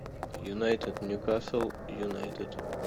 юнайтед ньюкасл юнайтед